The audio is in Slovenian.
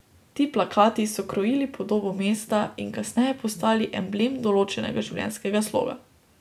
Ti plakati so krojili podobo mesta in kasneje postali emblem določenega življenjskega sloga.